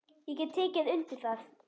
Ég get tekið undir það.